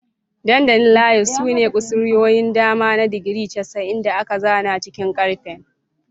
Dandalin Layout sune kusurwoyin dama na digiri 90 da aka zana cikin karfe.